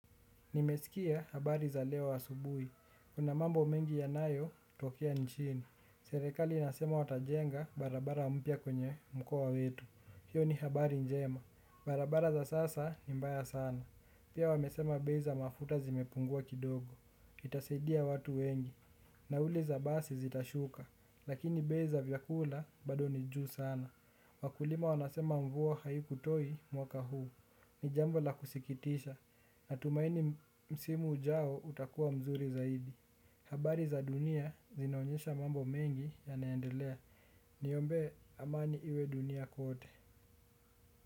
Nimesikia habari za leo asubui, kuna mambo mengi yanayo tokea nchini. Serekali inasema watajenga barabara mpya kwenye mkoa wetu. Hiyo ni habari njema, barabara za sasa ni mbaya sana. Pia wamesema bei za mafuta zimepungua kidogo, itasaidia watu wengi. Nauli za basi zitashuka, lakini bei za vyakula bado nijuu sana. Wakulima wanasema mvua haiku toi mwaka huu ni jambo la kusikitisha natumaini msimu ujao utakuwa mzuri zaidi habari za dunia zinaonyesha mambo mengi yanaendelea niombe amani iwe dunia kwote.